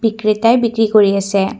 ক্ৰেটাই বিক্ৰী কৰি আছে।